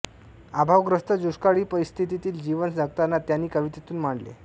अभावग्रस्त दुष्काळी परिस्थितीतील जीवन जगताना त्यांनी कवितेतून मांडले